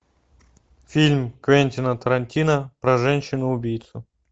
фильм квентина тарантино про женщину убийцу